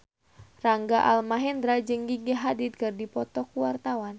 Rangga Almahendra jeung Gigi Hadid keur dipoto ku wartawan